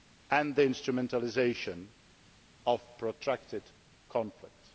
and the instrumentalisation of protracted conflicts.